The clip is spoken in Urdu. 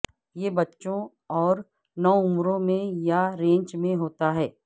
یہ بچوں اور نوعمروں میں یا رینج میں ہوتا ہے